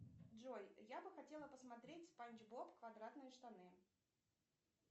джой я бы хотела посмотреть спанч боб квадратные штаны